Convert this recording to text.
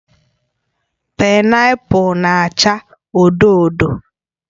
Painapul na-acha odo odo